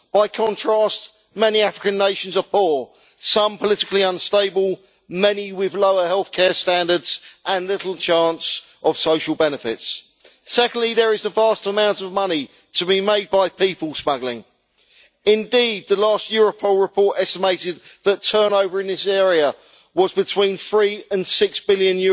By contrast, many African nations are poor, some politically unstable, many with lower health care standards, and little chance of social benefits. Secondly, there are vast amounts of money to be made by people smuggling. Indeed, the last Europol report estimated that turnover in this area was between EUR three and six billion